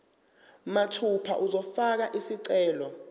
mathupha uzofaka isicelo